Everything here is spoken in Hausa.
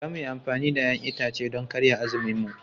Za mu yi amfani da 'ya'yan itace don karya azuminmu.